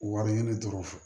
Wari ɲini dɔrɔn